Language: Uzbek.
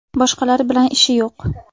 Boshqalar bilan ishi yo‘q.